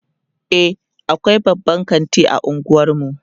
e akwai babban kanti a unguwarmu